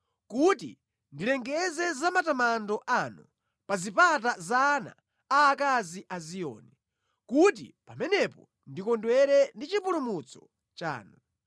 kuti ndilengeze za matamando anu pa zipata za ana aakazi a Ziyoni, kuti pamenepo ndikondwere ndi chipulumutso chanu.